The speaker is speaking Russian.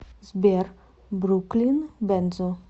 сбер бруклин бензо